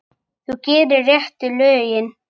Þú gerir réttu lögin.